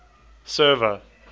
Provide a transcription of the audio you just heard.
server